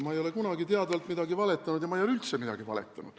Ma ei ole kunagi teadvalt valetanud ja ma ei ole üldse midagi valetanud.